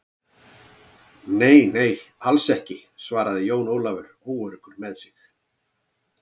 Nei, nei, alls ekki, svaraði Jón Ólafur óöruggur með sig.